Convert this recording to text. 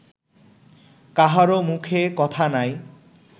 কাহারও মুখে কথা নাই